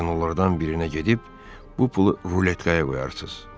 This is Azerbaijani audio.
Kazinolardan birinə gedib bu pulu ruletkaya qoyarsız.